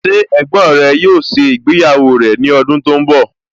Ṣé ẹ̀gbọ́n rẹ yóò ṣe ìgbéyàwó rẹ̀ ní ọdún tó ń bọ̀?